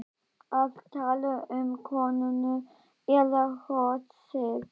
Ertu að tala um konuna eða hrossið?